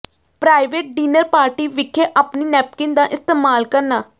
private dinner party ਵਿਖੇ ਆਪਣੀ napkin ਦਾ ਇਸਤੇਮਾਲ ਕਰਨਾ